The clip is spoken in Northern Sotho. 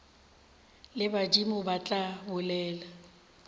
le badimo ba tla bolela